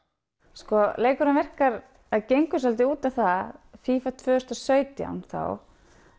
sko leikurinn virkar eða gengur svolítið út á það tvö þúsund og sautján þá